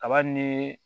Kaba ni